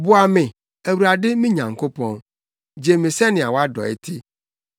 Boa me, Awurade me Nyankopɔn; gye me sɛnea wʼadɔe te.